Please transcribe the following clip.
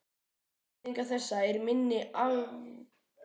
Afleiðing þessa er minni afkastageta líkamans.